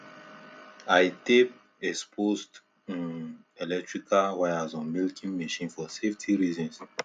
i tape exposed um electrical wires on milking machine for safety reasons